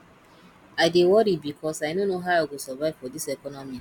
i dey worry because i no know how i go survive for dis economy